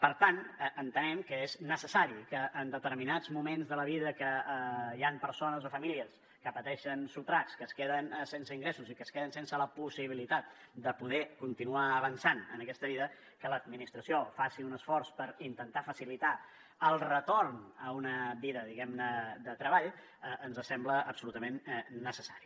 per tant entenem que és necessari que en determinats moments de la vida que hi han persones o famílies que pateixen sotracs que es queden sense ingressos i que es queden sense la possibilitat de poder continuar avançant en aquesta vida que l’administració faci un esforç per intentar facilitar el retorn a una vida diguem ne de treball ens sembla absolutament necessari